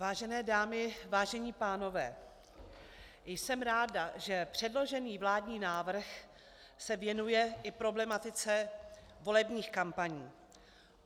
Vážené dámy, vážení pánové, jsem ráda, že předložený vládní návrh se věnuje i problematice volebních kampaní.